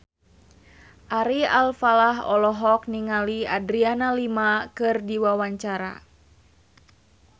Ari Alfalah olohok ningali Adriana Lima keur diwawancara